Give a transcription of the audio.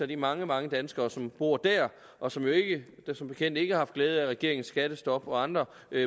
de mange mange danskere som bor der og som jo som bekendt ikke har haft glæde af regeringens skattestop og andre